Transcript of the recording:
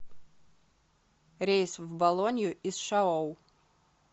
рейс в болонью из шаоу